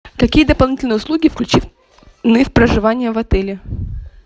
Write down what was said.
какие дополнительные услуги включены в проживание в отеле